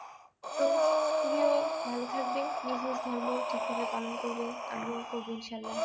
তো তুমিও ভালো থাকবে নিজের ধর্ম ঠিকভাবে পালন করবে আমিও করবো ইনশাআল্লাহ